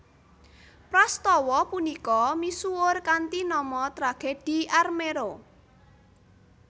Prastawa punika misuwur kanthi nama Tragedhi Armero